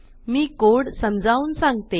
मी code समजावून सांगते